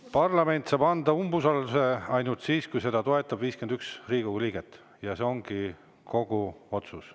Parlament saab umbusaldust ainult siis, kui seda toetab 51 Riigikogu liiget, ja see ongi kogu otsus.